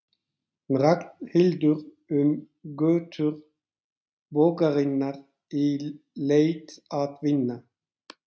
Ragnhildur um götur borgarinnar í leit að vinnu.